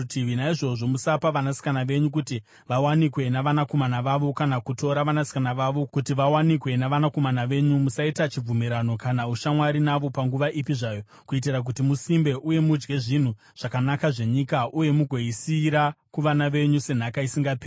Naizvozvo, musapa vanasikana venyu kuti vawanikwe navanakomana vavo kana kutora vanasikana vavo kuti vawanikwe navanakomana venyu. Musaita chibvumirano kana ushamwari navo panguva ipi zvayo, kuitira kuti musimbe uye mudye zvinhu zvakanaka zvenyika uye mugoisiyira kuvana venyu senhaka isingaperi.’